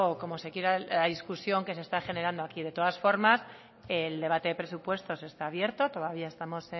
como se quiera llamar la discusión que se está generando aquí de todas formas el debate de presupuestos está abierto todavía estamos